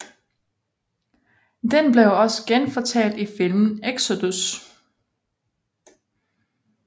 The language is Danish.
Den blev også genfortalt i filmen Exodus